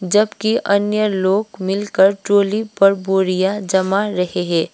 जबकि अन्य लोग मिलकर ट्रॉली पर बोरियां जमा रहे हैं।